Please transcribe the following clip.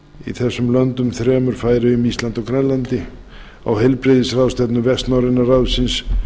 í þessum löndum þremur færeyjum íslandi og grænlandi á heilbrigðisráðstefnu hvert norræna ráðsins